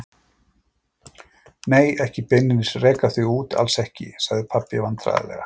Nei, ekki beinlínis reka þig út, alls ekki, sagði pabbi vandræðalega.